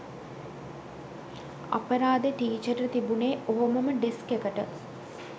අපරාදේ ටිචට තිබුනේ ඔහොමම ඩෙස්ක් එකට